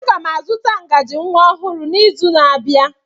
Aga m azụta ngaji nwa ọhụrụ n'izu na-abịa.